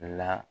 La